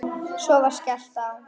Svo var skellt á.